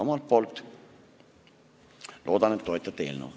Omalt poolt loodan, et te toetate eelnõu.